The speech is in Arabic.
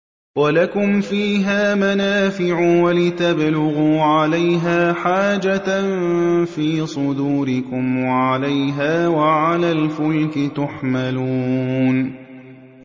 وَلَكُمْ فِيهَا مَنَافِعُ وَلِتَبْلُغُوا عَلَيْهَا حَاجَةً فِي صُدُورِكُمْ وَعَلَيْهَا وَعَلَى الْفُلْكِ تُحْمَلُونَ